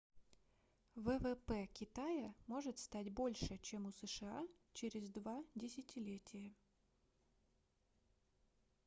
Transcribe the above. ввп китая может стать больше чем у сша через два десятилетия